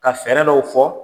Ka fɛɛrɛ dɔw fɔ,